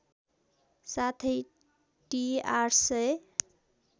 साथै टि ८००